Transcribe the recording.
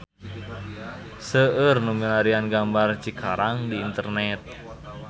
Seueur nu milarian gambar Cikarang di internet